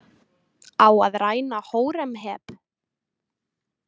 Á að ræna Hóremheb?